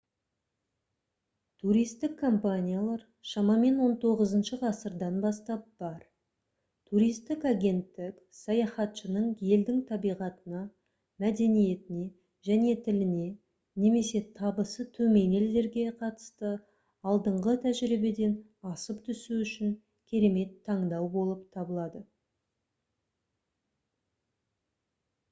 туристік компаниялар шамамен 19-шы ғасырдан бастап бар туристік агенттік саяхатшының елдің табиғатына мәдениетіне және тіліне немесе табысы төмен елдерге қатысты алдыңғы тәжірибеден асып түсу үшін керемет таңдау болып табылады